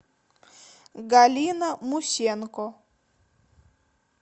галина мусенко